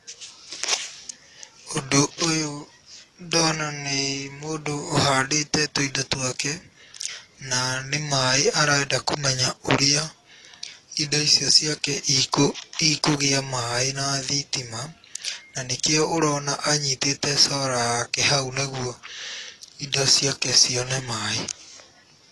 Ũndũ ũyũ ndona nĩ mũndũ ũhandĩte tũindo twake na nĩ maaĩ arenda kũmenya ũrĩa indo icio ciake ikũgĩa maaĩ na thitima na nĩkĩo ũrona anyĩtĩte solar yake hau nĩguo indo ciake cione maaĩ.